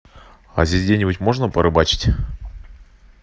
а здесь где нибудь можно порыбачить